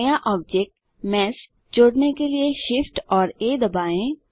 नया object mesh जोड़ने के लिए Shift और आ दबाएँ